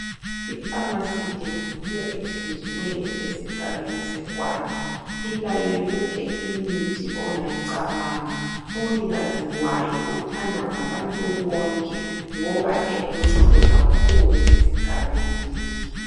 IPharmacy le, yiyo ethenjiweyo esigabeni seGwanda. Ilayo yonke imithi ongayicabanga. Umnikazi wayo uthandwa ngabantu bonke ngoba eluncedo kakhulu esigabeni leso.